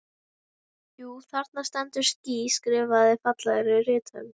Jú, þarna stendur ský skrifað fallegri rithönd.